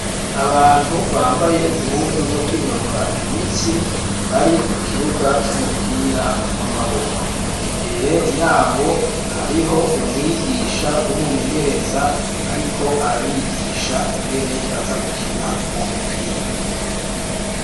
Abantu bambaye impuzu zo kwinonora imitsi bari ku kibuga c'umupira w'amaboko imbere yabo hariho umwigisha w'umumenyereza ariko arabigisha ingene bazagukina uwo mupira.